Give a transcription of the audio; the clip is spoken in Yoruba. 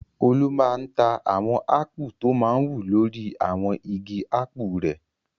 Olú máa ń ta àwọn ápù tọ máa ń wù lórí àwọn igi ápù rẹ̀.